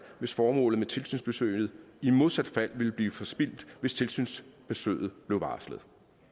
hvis formålet med tilsynsbesøget i modsat fald ville blive forspildt hvis tilsynsbesøget blev varslet